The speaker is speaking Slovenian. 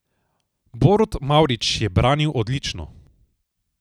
Borut Mavrič je branil odlično.